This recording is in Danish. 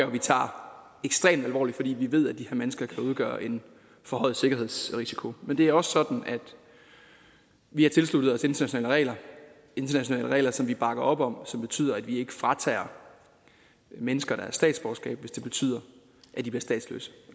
vi tager ekstremt alvorligt fordi vi ved at de her mennesker kan udgøre en forhøjet sikkerhedsrisiko men det er også sådan at vi har tilsluttet os internationale regler internationale regler som vi bakker op om og som betyder at vi ikke fratager mennesker deres statsborgerskab hvis det betyder at de bliver statsløse